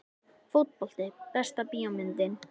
Fótbolti Besta bíómyndin?